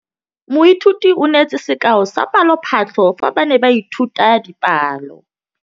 Moithuti o neetse sekaô sa palophatlo fa ba ne ba ithuta dipalo.